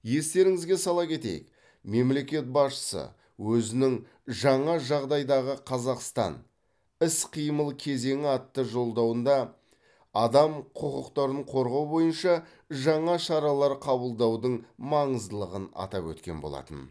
естеріңізге сала кетейік мемлекет басшысы өзінің жаңа жағдайдағы қазақстан іс қимыл кезеңі атты жолдауында адам құқықтарын қорғау бойынша жаңа шаралар қабылдаудың маңыздылығын атап өткен болатын